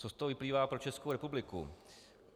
Co z toho vyplývá pro Českou republiku?